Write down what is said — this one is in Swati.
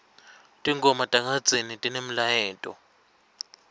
tingoma takadzeni tinemlayeto